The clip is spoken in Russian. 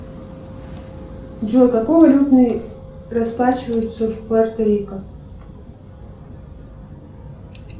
джой какой валютой расплачиваются в пуэрто рико